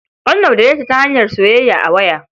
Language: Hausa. An yaudare ta ta hanyar soyayya a waya.